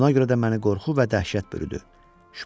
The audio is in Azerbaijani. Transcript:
Buna görə də məni qorxu və dəhşət bürüdü.